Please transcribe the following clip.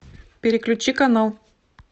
переключи канал